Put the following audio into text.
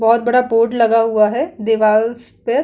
बहुत बड़ा बोर्ड लग हुआ है दीवार पे --